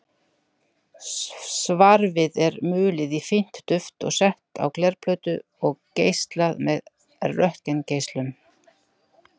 Svarfið er mulið í fínt duft og sett á glerplötu og geislað með röntgengeislum.